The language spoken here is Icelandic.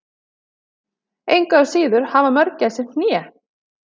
Engu að síður hafa mörgæsir hné.